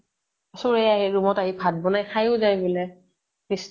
চুৰে আহি room ত আহি ভাত বনাই খাইও যায় বুলে। কৃষ্ণ